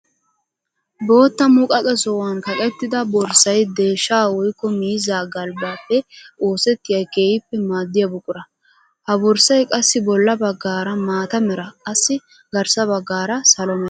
Bootta muqaqe sohuwan kaqettidda borssay deeshsha woykko miizzaa galbbappe oosettiya keehippe maadiya buqura. Ha borssay qassi bolla bagaara maata mera qassi garssaara salo mera.